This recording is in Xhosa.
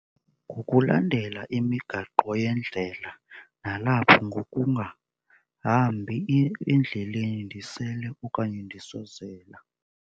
Ngokulandela imigaqo yendlela, nalapho ngokungahambi endleleni ndisele okanye ndisozela.